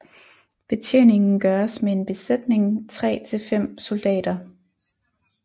Betjeningen gøres med en besætning 3 til 5 soldater